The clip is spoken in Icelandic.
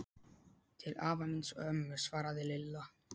Til afa míns og ömmu svaraði Lilla.